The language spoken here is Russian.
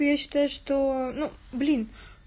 я считаю что ну блин